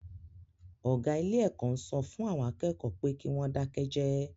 Ọ̀gá ilé-ẹ̀kọ́ ń sọ fún àwọn akẹ́kọ̀ọ́ pé kí wọ́n dákẹ́ jẹ́ẹ́.